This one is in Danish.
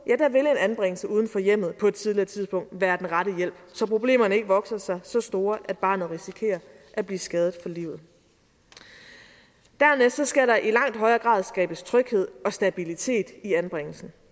vil en anbringelse uden for hjemmet på et tidligere tidspunkt være den rette hjælp så problemerne ikke vokser sig så store at barnet risikerer at blive skadet for livet dernæst skal der i langt højere grad skabes tryghed og stabilitet i anbringelsen